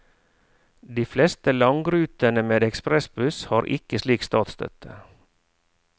De fleste langrutene med ekspressbuss har ikke slik statsstøtte.